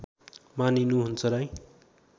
मानिनु हुन्छ राई